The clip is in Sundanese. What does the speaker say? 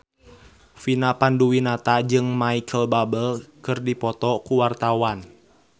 Vina Panduwinata jeung Micheal Bubble keur dipoto ku wartawan